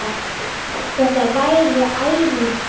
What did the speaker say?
Þetta var ærinn starfi.